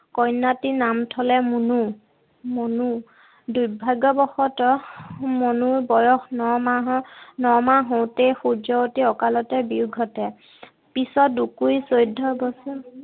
কন্যাটিৰ নাম থলে মনু, মুনু। দুৰ্ভাগ্যবশতঃ মুনুৰ বয়স ন মাহ হওঁতেই সূৰ্যৱতীৰ অকালতে বিয়োগ ঘটে। পিছত দুকুৰি চৈধ্য় বছৰ